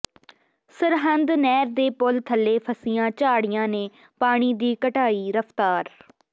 ਸਰਹਿੰਦ ਨਹਿਰ ਦੇ ਪੁਲ ਥੱਲੇ ਫਸੀਆਂ ਝਾੜੀਆਂ ਨੇ ਪਾਣੀ ਦੀ ਘਟਾਈ ਰਫ਼ਤਾਰ